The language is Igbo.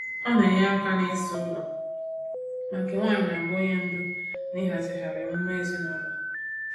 Ọ na-enye aka n’ịsa ụlọ, ma nke nwaanyị n'abụ onye ndu n’ịhazigharị emume ezinụlọ.